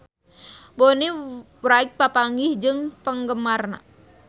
Bonnie Wright papanggih jeung penggemarna